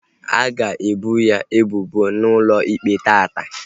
A ga ebo ya ebubo n'ụlọ ikpe taata